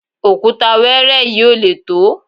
òkúta wẹ́ẹ́rẹ́ yìí ò lè tó